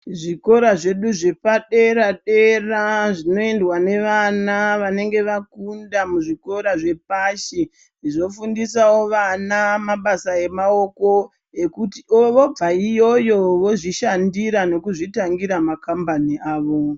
Zvikora zvedu zvepadera dera zvinoendwa nevana vanenge vakunda muzvikora zvepashi zvofundisa wo vana mabasa enyara ekuti vobva iyoyo vozvishandira neku zvitangira makambani avo.